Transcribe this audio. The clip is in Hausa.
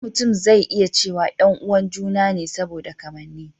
Da kyar mutum zai iya cewa 'yan uwan ​​juna ne saboda kamanni.